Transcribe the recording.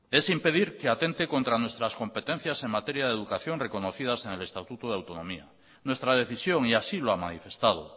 es impedir que atente contra nuestras competencias en materia de educación reconocidas en el estatuto de autonomía nuestra decisión y así lo ha manifestado